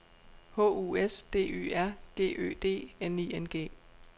H U S D Y R G Ø D N I N G